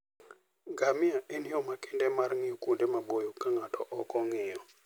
Ngamia en yo makende mar ng'iyo kuonde maboyo ka ng'ato ok ong'iyo.